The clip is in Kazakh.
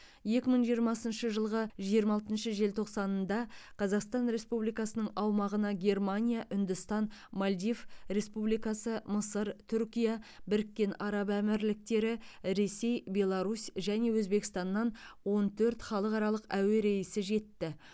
екі мың жиырмасыншы жылғы жиырма алтыншы желтоқсанында қазақстан республикасының аумағына германия үндістан мальдив республикасы мысыр түркия біріккен араб әмірліктері ресей беларусь және өзбекстаннан он төрт халықаралық әуе рейсі жетті